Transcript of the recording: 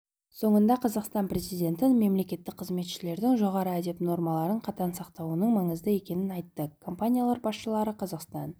соңында қазақстан президенті мемлекеттік қызметшілердің жоғары әдеп нормаларын қатаң сақтауының маңызды екенін айтты компаниялар басшылары қазақстан